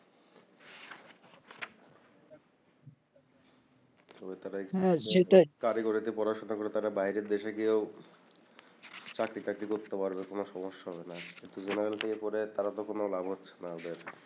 তারা হা সেটাই কারিগরিতে পড়াশোনা করে তারা বাইরের দেশে গিয়েও চাকরি বাকরি করতে পারবে কোন সমস্যা হবেনা থেকে পড়ে তারা তো কোন লাভ হচ্ছেনা ওদের